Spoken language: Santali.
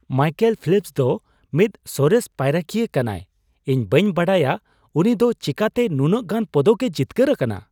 ᱢᱟᱭᱠᱮᱞ ᱯᱷᱮᱞᱯᱥ ᱫᱚ ᱢᱤᱫ ᱥᱚᱨᱮᱥ ᱯᱟᱭᱨᱟᱠᱤᱭᱟᱹ ᱠᱟᱱᱟᱭ ᱾ ᱤᱧ ᱵᱟᱹᱧ ᱵᱟᱰᱟᱭᱟ ᱩᱱᱤ ᱫᱚ ᱪᱮᱠᱟᱛᱮ ᱱᱩᱱᱟᱹᱜ ᱜᱟᱱ ᱯᱚᱫᱚᱠᱼᱮ ᱡᱤᱛᱠᱟᱹᱨ ᱟᱠᱟᱱᱟ !